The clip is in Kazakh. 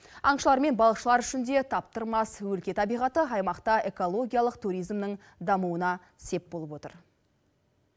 аңшылар мен балықшылар үшін де таптырмас өлке табиғаты аймақта экологиялық туризмнің дамуына сеп болып отыр